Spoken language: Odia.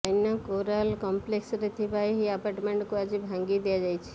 ଜୈନ କୋରାଲ କମ୍ପ୍ଲେକ୍ସରେ ଥିବା ଏହି ଆପାର୍ଟମେଣ୍ଟକୁ ଆଜି ଭାଙ୍ଗି ଦିଆଯାଇଛି